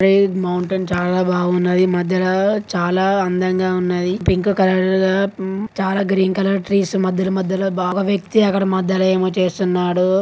అయిద్ mountain చాలా బాగున్నది. ఈ మధ్యలా చాలా అందంగా ఉన్నది. పింక్ కలర్ లా ఉమ్మ్ చాలా గ్రీన్ కలర్ ట్రీస్ మధ్యల మధ్యల బా ఒక వ్యక్తి అక్కడ--